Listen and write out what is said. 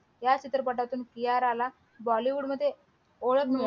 या चित्रपटातून कियाराला बॉलीवूड मध्ये ओळख